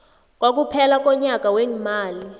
kokuphela konyaka weemali